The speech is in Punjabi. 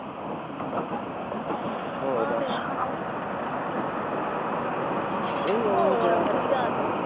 ਹੋਰ ਦੱਸ ਓਏ ਓਹ ਜਿਹੜਾ ਆ ਵਧੀਆ ਕੇ